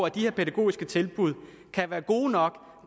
at de her pædagogiske tilbud er gode nok